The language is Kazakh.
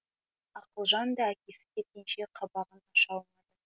ақылжан да әкесі кеткенше қабағын аша